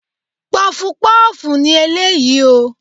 Pọfupọ́ọ̀fù ni eléyìí o.